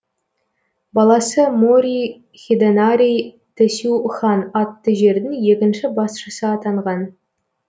баласы мори хидэнари тесю хан атты жердің екінші басшысы атанған